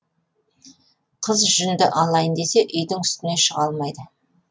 қыз жүнді алайын десе үйдің үстіне шыға алмайды